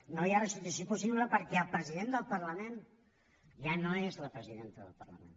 no hi ha restitució possible perquè el president del parlament ja no és la presidenta del parlament